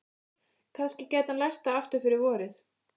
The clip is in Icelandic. Kannski gæti hann lært það aftur fyrir vorið.